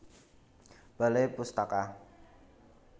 Balai Pustaka